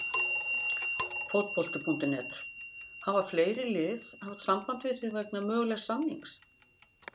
Fótbolti.net: Hafa fleiri lið haft samband við þig vegna mögulegs samnings?